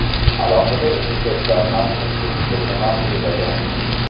Alohida ekspertlar ham ushbu fikrni ma’qullagan.